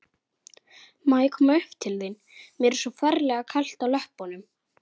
Var þetta fyrsti apríl?